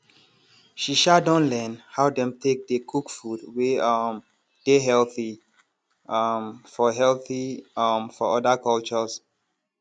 she um don learn how dem take dey cook food wey um dey healthy um for healthy um for other cultures